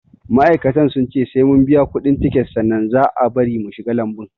Ma'aikatan sun ce sai mun biya kuɗin tiket sannan za au bari mu shiga lambun